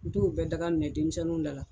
N t'o bɛɛ daga minɛ denmisɛnninw da la.